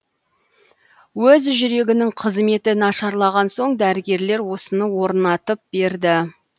өз жүрегінің қызметі нашарлаған соң дәрігерлер осыны орнатып берді